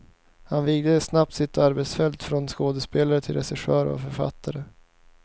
Han vidgade snabbt sitt arbetsfält från skådespelare till regissör och författare.